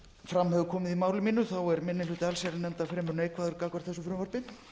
fram hefur komið í máli mínu er minni hluti allsherjarnefndar fremur neikvæður gagnvart þessu frumvarpi